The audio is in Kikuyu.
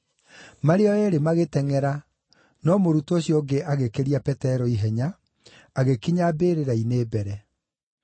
Marĩ o eerĩ magĩtengʼera, no mũrutwo ũcio ũngĩ agĩkĩria Petero ihenya, agĩkinya mbĩrĩra-inĩ mbere.